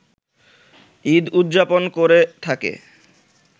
ঈদ উদযাপন করে থাকে